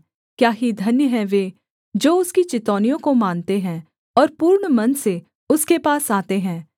क्या ही धन्य हैं वे जो उसकी चितौनियों को मानते हैं और पूर्ण मन से उसके पास आते हैं